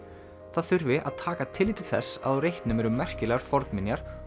það þurfi að taka tillit til þess á reitnum eru merkilegar fornminjar